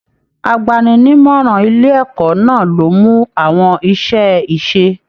Àgbàni-ní-ìmọràn ilé ẹ̀kọ́ náà ló mú àwọn iṣẹ ise.